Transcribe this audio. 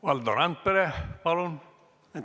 Valdo Randpere, palun!